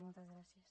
moltes gràcies